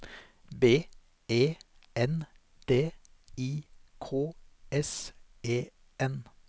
B E N D I K S E N